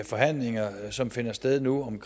forhandlinger som finder sted nu om